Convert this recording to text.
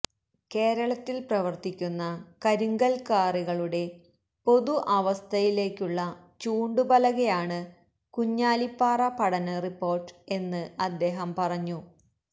കേരളത്തിൽ പ്രവർത്തിക്കുന്ന കരിങ്കൽ ക്വാറികളുടെ പൊതുഅവസ്ഥയിലേക്കുള്ള ചൂണ്ടുപലകയാണ് കുഞ്ഞാലിപ്പാറ പഠനറിപ്പോർട്ട് എന്ന് അദ്ദേഹം പറഞ്ഞു